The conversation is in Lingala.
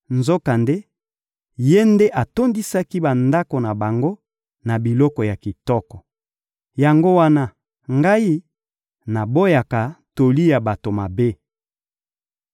Nzokande, Ye nde atondisaki bandako na bango na biloko ya kitoko. Yango wana, ngai, naboyaka toli ya bato mabe.